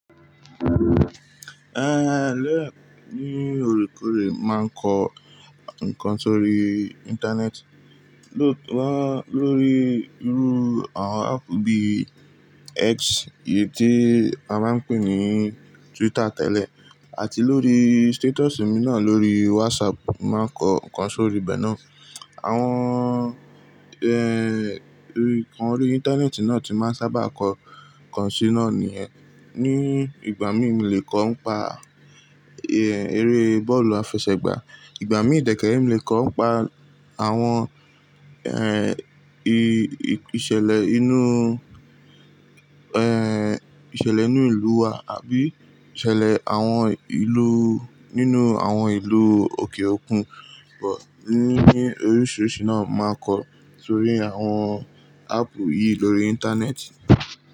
Ehn, ni òrékore mo máa ń kọ nǹkan sórí Íńtánẹ́ẹ̀tì, ló wá lórí irú àwon áàpù bí i X, èyí tí a máa ń pè ní Twitter tẹ́lẹ̀, àti lórí stétọ̀sì mi náà lórí wásápù máa ń kọ nǹkan sórí bẹ́ẹ náà. Àwon ehn, nǹkan orí Íńtánẹ́ẹ̀tì náà tí máa ń sábà kọ nǹkan sí na niyẹn Ní ìgbà mí mo le kọ ọ́ n pa eré bọ́ọ̀lù àfẹsẹ̀gbá, ìgbà mí ì dẹ̀kẹ̀rẹ̀ mo lè kọ ọ́ pa àwon ehn, ìṣẹ̀lẹ̀ inú ehn, ìṣẹ̀lẹ̀ inú ìlú wa àbí ìṣẹ̀lẹ̀ àwon ìlú nínú àwon ìlú òkè òkun. But ní oríṣìíríṣìí náà máa kọ sórí àwon áàpù yìí lórí Íńtánẹ́ẹ̀tì.